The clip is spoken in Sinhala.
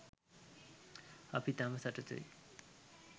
අපි ඉතාම සතුටුයි